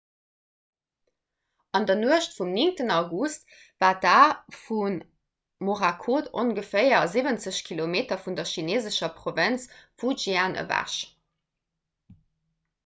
an der nuecht vum 9 august war d'a vu morakot ongeféier siwwenzeg kilometer vun der chineesescher provënz fujian ewech